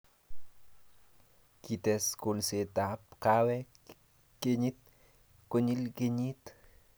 kites kolsetab kaawek kenyit konyil kenyit